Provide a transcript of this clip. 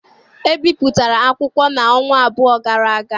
E bipụtara akwụkwọ n'ọnwa abụọ gara aga.